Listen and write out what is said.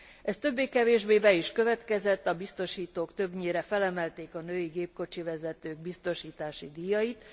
Ez többé kevésbé be is következett, a biztosítók többnyire felemelték a női gépkocsivezetők biztosítási díjait.